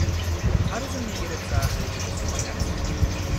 आरो जोंनि गेरेमसा हारिमुनि समायना दिन्थिफुंनायमोन।